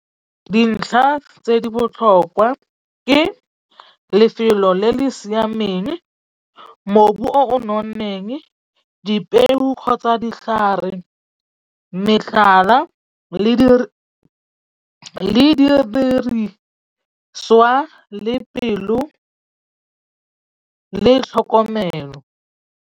Dintlha tse di botlhokwa ke lefelo le le siameng, mobu o nonneng, dipeo kgotsa ditlhare metlhala le le didiriswa le pelo le tlhokomelo.